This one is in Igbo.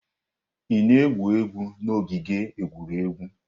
Ị na-egwu egwu n'ogige egwuregwu?